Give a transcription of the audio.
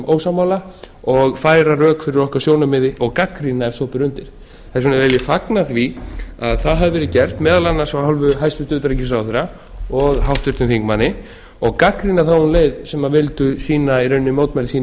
ósammála og færa rök fyrir okkar sjónarmiði og gagnrýna ef svo ber undir þess vegna vil ég fagna því að það hefur verið gert meðal annars af hálfu hæstvirts utanríkisráðherra og háttvirtum þingmanni og gagnrýna þá um leið sem vildu sýna í rauninni mótmæli sín í